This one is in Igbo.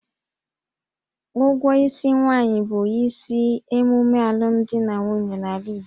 Ụgwọ isi nwaanyị bụ isi emume alụmdi na nwunye n'ala Igbo